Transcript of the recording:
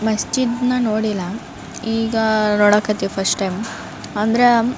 ಮಸ್ಜಿದ್ ನ ನೋಡಿಲ್ಲ ಈಗ ನೋಡಕತ್ತೀವಿ ಫರ್ಸ್ಟ್ ಟೈಮ್ ಅಂದ್ರೆ --